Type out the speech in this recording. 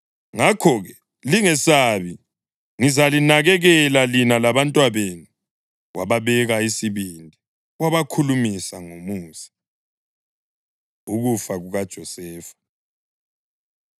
Ngakho-ke, lingesabi. Ngizalinakekela lina labantwabenu.” Wababeka isibindi wabakhulumisa ngomusa. Ukufa KukaJosefa